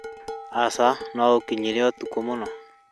Aca, no ũkinyire ũtukũ mũno